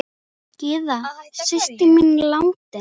Gyða systir mín er látin.